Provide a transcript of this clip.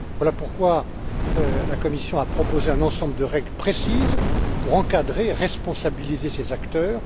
Voilà pourquoi la Commission a proposé un ensemble de règles précises pour encadrer, responsabiliser ces acteurs.